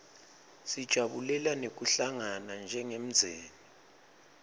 sijabulela nekuhlangana njengemndzeni